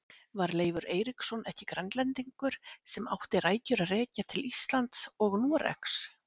Var Leifur Eiríksson ekki Grænlendingur sem átti rætur að rekja til Íslands og Noregs?